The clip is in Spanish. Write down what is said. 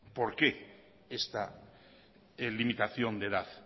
por qué esta limitación de edad